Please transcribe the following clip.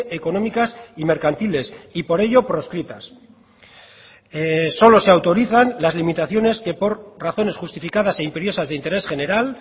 económicas y mercantiles y por ello proscritas solo se autorizan las limitaciones que por razones justificadas e imperiosas de interés general